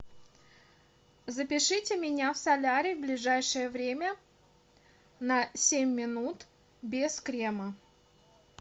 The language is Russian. запишите меня в солярий в ближайшее время на семь минут без крема